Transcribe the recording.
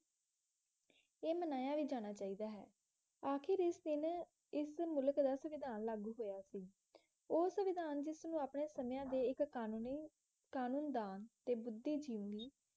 ਇਹ ਮਨਾਇਆ ਵੀ ਜਾਣਾ ਚਾਹੀਦਾ ਹੈ ਅਖੀਰ ਇਸ ਦਿਨ ਇਸ ਮੁਲਕ ਦਾ ਸੰਵਿਧਾਨ ਲਾਗੂ ਹੋਇਆ ਸੀ ਉਹ ਸੰਵਿਧਾਨ ਜਿਸਨੂੰ ਆਪਣੇ ਸਮਿਆਂ ਦੇ ਇੱਕ ਕਾਨੂੰਨੀ ਕ਼ਾਨੂਨ ਦਾ ਤੇ ਬੁਧੀਜੀਵ ਲਈ